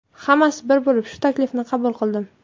Hammasi bir bo‘lib, shu taklifni qabul qildim.